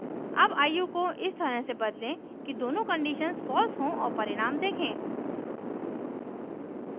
अब आयु को इस तरह से बदलें कि दोनों conditions false हों और परिणाम देखें